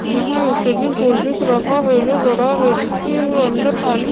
यहाँ एक दिख रहा है जो बड़ा है जिसके अन्दर पानी --